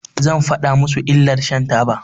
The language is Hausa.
Zan faɗa musu illar shan taba.